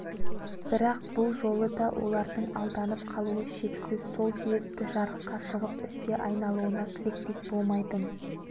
бірақ бұл жолы да олардың алданып қалуы шәксіз сол себепті жарыққа шығып іске айналуына тілектес болмайтын